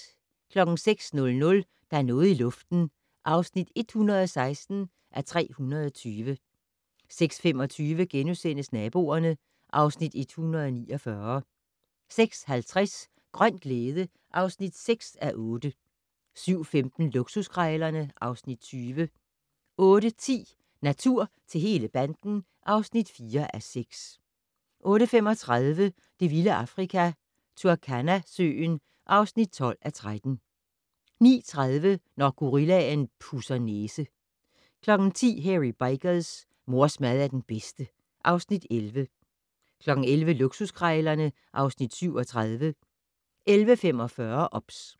06:00: Der er noget i luften (116:320) 06:25: Naboerne (Afs. 149)* 06:50: Grøn glæde (6:8) 07:15: Luksuskrejlerne (Afs. 20) 08:10: Natur til hele banden (4:6) 08:35: Det vilde Afrika - Turkana-søen (12:13) 09:30: Når gorillaen pudser næse 10:00: Hairy Bikers: Mors mad er den bedste (Afs. 11) 11:00: Luksuskrejlerne (Afs. 37) 11:45: OBS